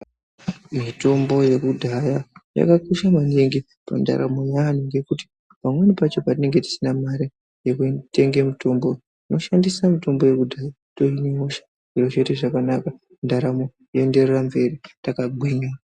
Mitombo yekudhaya yakakosha maningi mundaramo yeantu ngekuti pamweni pachona patinenge teide mari yekutenge mitombo tinoshandise mitombo yekudhaya toimimosha zvoite zvakanaka ndaramo yedu yoendera mberi takagwinya.